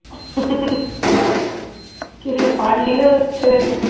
ਕੀਤੇ ਫੜ ਲਈ ਨਾ ਤੇਰੇ